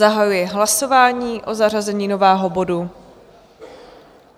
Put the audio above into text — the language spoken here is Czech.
Zahajuji hlasování o zařazení nového bodu.